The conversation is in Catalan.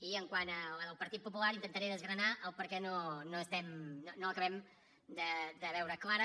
i quant a la del partit popular intentaré desgranar per què no acabem de veure la clara